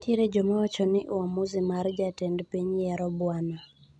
Nitiere jomawacho ni uamuzi mar jatend piny yiero Bwana.